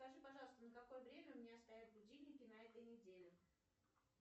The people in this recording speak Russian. скажи пожалуйста на какое время у меня стоят будильники на этой неделе